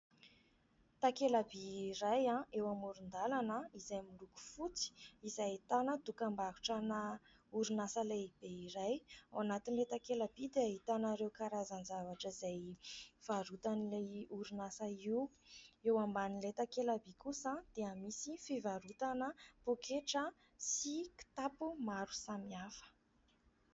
takelaby iray ah eo amoron-dalana izay miloko fotsy izay tana tokam-barotra na orinasa lehibe iray ao anatin'ilay takelabi dia hitanareo karazan zavatra izay varotan'ilay orinasa io eo amban'ilay takelaby kosa dia misy fivarotana mpoketra sy kitapo maro samyhafa